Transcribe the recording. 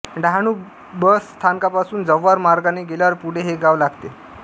Dahanu bus स्थानकापासून जव्हार मार्गाने गेल्यावर पुढे हे गाव लागते